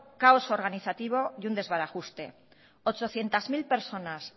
caos organizativo y un desbarajuste ochocientos mil personas